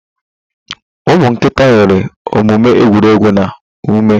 Umu nkịta nwere omume egwuregwu na ume